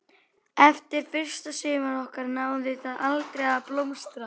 Eftir fyrsta sumarið okkar náði það aldrei að blómstra.